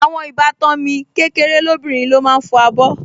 Àwọn ìbátan mi kékeré lóbìnrin ló máa ń fọ abọ́